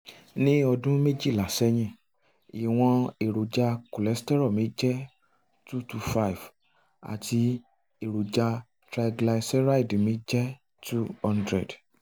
ní ọdún méjìlá sẹ́yìn ìwọ̀n èròjà cholesterol mi jẹ́ 225 àti èròjà triglyceride mi jẹ́ 200